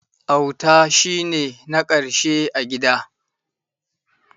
Auta shi ne na ƙarshe a gida.